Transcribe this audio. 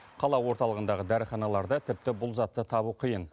қала орталығындағы дәріханаларда тіпті бұл затты табу қиын